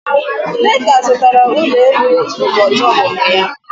Nneka zụtara ụlọ elu n'ụbọchị ọmụmụ ya